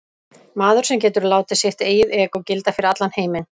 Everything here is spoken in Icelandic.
Maður sem getur látið sitt eigið egó gilda fyrir allan heiminn.